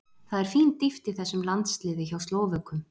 Það er fín dýpt í þessum landsliði hjá Slóvökum.